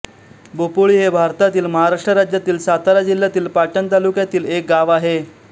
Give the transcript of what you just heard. बोपोळी हे भारतातील महाराष्ट्र राज्यातील सातारा जिल्ह्यातील पाटण तालुक्यातील एक गाव आहे